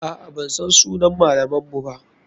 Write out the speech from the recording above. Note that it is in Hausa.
Aa, bansan sunan malaman mu ba.